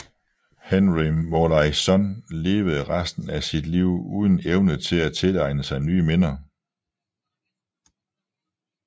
Henry Molaison levede resten af sit liv uden evne til at tilegne sig nye minder